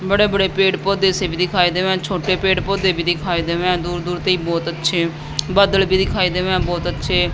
बड़े बड़े पेड़ पौधे से भी दिखाई देवे छोटे पेड़ पौधे भी दिखाई देवे अह दूर दूर ते बहुत अच्छे बादल भी दिखाई देवे बहुत अच्छे--